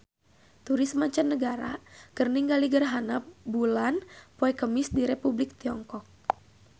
Turis mancanagara keur ningali gerhana bulan poe Kemis di Republik Tiongkok